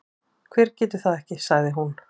Hver getur það ekki? sagði hún.